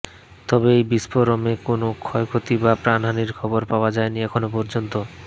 তবে এই বিস্ফোরমে কোনও ক্ষয়ক্ষতি বা প্রাণহানির খবর পাওয়া যায়নি এখনও পর্যন্ত